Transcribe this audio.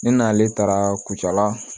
Ne n'ale taara kucala